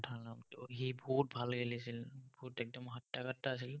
ভাল নামটো, সি বহুত ভাল খেলিছিল, বহুত একদম हातता-काटता আছিল।